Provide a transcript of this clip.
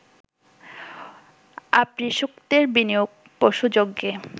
আপ্রীসূক্তের বিনিয়োগ পশুযজ্ঞে